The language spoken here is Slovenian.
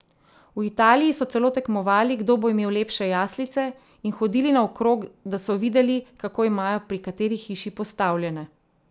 V Italiji so celo tekmovali, kdo bo imel lepše jaslice, in hodili naokrog, da so videli, kako imajo pri kateri hiši postavljene.